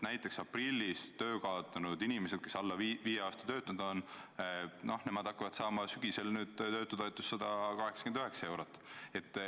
Näiteks aprillis töö kaotanud inimesed, kes on alla viie aasta töötanud, hakkavad saama sügisel töötutoetust 189 eurot.